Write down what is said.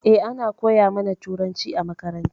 Eh ana koya ma na turanci a makaranta.